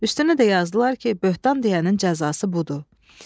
Üstünə də yazdılar ki, böhtan deyənin cəzası budur.